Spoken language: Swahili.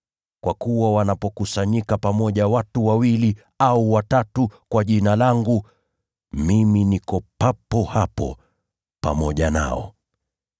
Kwa kuwa wanapokusanyika pamoja watu wawili au watatu kwa Jina langu, mimi niko papo hapo pamoja nao.”